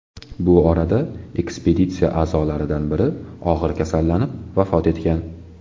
Bu orada ekspeditsiya a’zolaridan biri og‘ir kasallanib, vafot etgan.